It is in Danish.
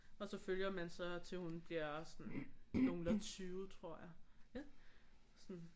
Og så følger man så til hun bliver sådan noglelunde 20 tror jeg sådan